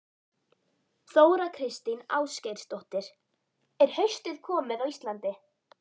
Kristinn skilningur á hjónabandinu hlýtur að byggjast á kristnum mannskilningi.